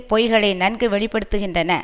பொய்களை நன்கு வெளி படுத்துகின்றன